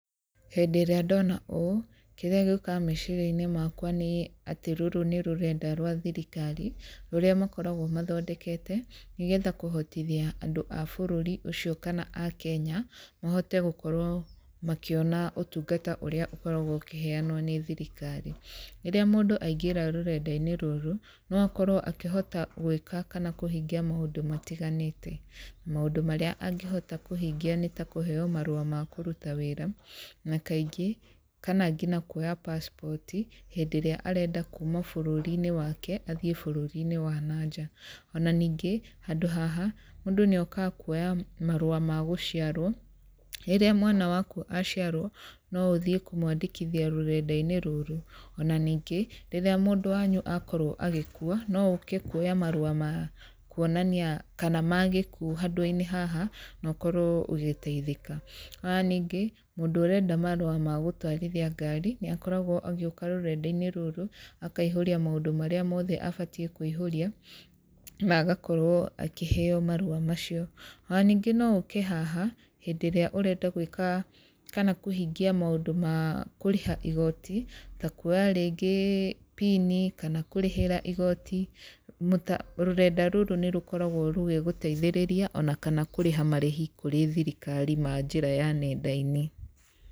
Hĩndĩ ĩrĩa ndona ũũ, kĩrĩa gĩũkaga meciria-inĩ makwa nĩ atĩ rũrũ nĩ rũrenda rwa thirikari, rũrĩa makoragwo mathondekete nĩgetha kũhotithia andũ a bũrũri ũcio kana Akenya mahote gũkorwo makĩona ũtungata ũrĩa ũkoragwo ũkĩheanwo nĩ thirikari, rĩrĩa mũndũ aingĩra rũrenda-inĩ rũrũ, no akorwo akĩhota gwĩka kana kũhingia maũndũ matiganĩte, maũndũ marĩa angĩhota kũhingia nĩ ta kũheo marũa makũruta wĩra, na kaingĩ, kana nginya kuoya passport, hĩndĩ ĩrĩa arenda kuuma bũrũri-inĩ wake athiĩ bũrũri-inĩ wa nanja. Ona ningĩ, handũ haha mũndũ nĩ okaga kuoya marũa ma gũciarwo, rĩrĩa mwana waku aciarwo, no ũthiĩ kũmwandĩkithia rũrenda-inĩ rũrũ. Ona ningĩ, rĩrĩa mũndũ wanyu akorwo agĩkua, no ũke kuoya marũa ma kuonania kana magĩkuũ handũ-inĩ haha na ũkorwo ũgĩteithĩka. Ona ningĩ mũndũ ũrenda marũa ma gũtwarithia ngaari, nĩ akoragwo agĩũka rũrenda-inĩ rũrũ, ahaihũria maũndũ marĩa mothe abatiĩ kũihũria, na agakorwo akĩheo marũa macio. Ona ningĩ no ũke haha hĩndĩ ĩrĩa ũenda gwĩka kana kũhingia maũndũ ma kũrĩha igooti, ta kuoya rĩngĩ bini, kũrĩhĩra igooti, rũrenda rũrũ nĩ rũkoragwo rũgĩgũteithĩrĩria, ona kana kũrĩha marĩhi kũrĩ thirikari ma njĩra ya nenda-inĩ.